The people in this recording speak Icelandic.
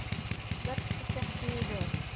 Verkið gekk mjög vel.